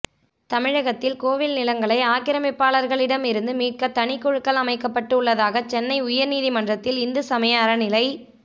தமிழகத்தில் கோவில் நிலங்களை ஆக்கிரமிப்பாளர்களிடம் இருந்து மீட்க தனி குழுக்கள் அமைக்கப்பட்டு உள்ளதாக சென்னை உயர்நீதிமன்றத்தில் இந்து சமய அறநிலை